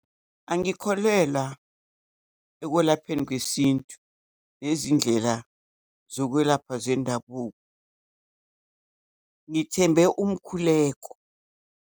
Angikholelwa ekwelapheni kwesintu nezindlela zokwelapha zendabuko, ngithembe umkhuleko.